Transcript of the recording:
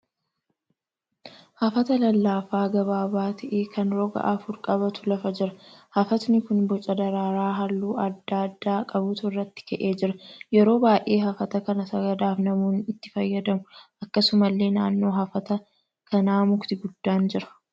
Hafata lallaafaa gabaabaa ta'e kan roga afur qabatu lafa jira. Hafatni kun booca daraaraa halluu adda addaa qabutu irratti ka'ee jira. Yeroo baay'ee hafata kana sagadaaf namoonni itti fayyadamu. Akkasumallee naannoo hafata kanaa mukti guddaan jira.